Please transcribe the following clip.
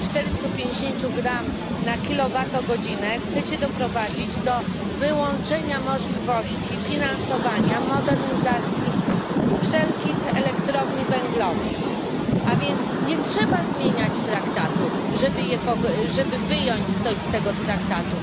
450 gram na kilowatogodzinę, chcą doprowadzić do wyłączenia możliwości finansowania modernizacji wszelkich elektrowni węglowych, a więc nie trzeba zmieniać Traktatu, żeby coś wyjąć z tego Traktatu.